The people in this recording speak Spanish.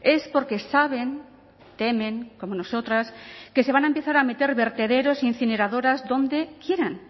es porque saben temen como nosotras que se van a empezar a meter vertederos e incineradoras donde quieran